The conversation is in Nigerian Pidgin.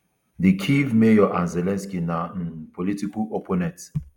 di kyiv mayor and zelensky na um political opponents